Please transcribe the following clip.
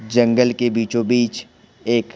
जंगल के बीचों बीच एक--